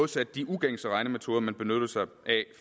til de ugængse regnemetoder man benyttede sig af